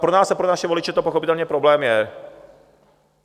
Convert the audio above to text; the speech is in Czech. Pro nás a pro naše voliče to pochopitelně problém je.